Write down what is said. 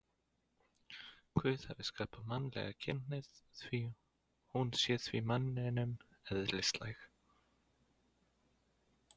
Guð hafi skapað mannlega kynhneigð, hún sé því manninum eðlislæg.